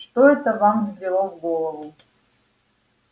что это вам взбрело в голову